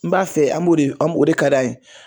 N b'a fɛ an m'o de o de ka d'a ye.